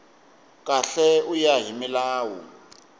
kahle ku ya hi milawu